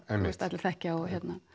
allir þekkja og